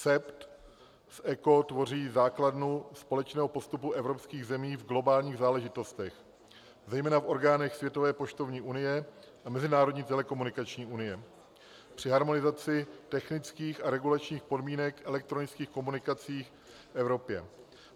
CEPT v ECO tvoří základnu společného postupu evropských zemí v globálních záležitostech, zejména v orgánech Světové poštovní unie a Mezinárodní telekomunikační unie při harmonizaci technických a regulačních podmínek elektronických komunikací v Evropě.